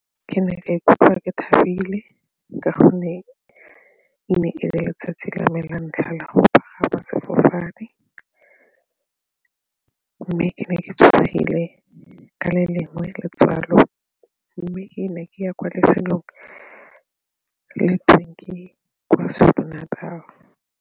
Ke ne ka ikutlwa ke thabile ka gonne e ne e le letsatsi la me la ntlha la go pagama sefofane ke ne ke tshogile ka le lengwe letswalo mme ke ne ke ya kwa lefelong le KwaZulu-Natal.